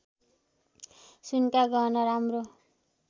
सुनका गहना राम्रो